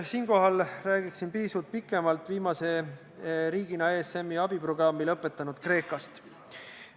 Siinkohal räägiksin pisut pikemalt viimasena riigina ESM-i abiprogrammi lõpetanud Kreekast.